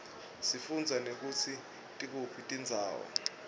sifundza nekutsi tikuphi tindzawo